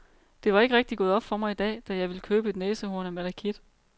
Det var ikke rigtig gået op for mig i dag, da jeg ville købe et næsehorn af malakit.